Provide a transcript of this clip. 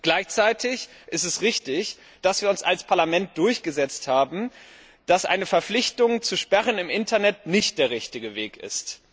Gleichzeitig ist es richtig, dass wir uns als Parlament mit der Ansicht durchgesetzt haben, dass eine Verpflichtung zu Sperren im Internet nicht der richtige Weg ist.